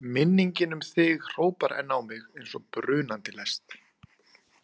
Minningin um þig hrópar enn á mig eins og brunandi lest.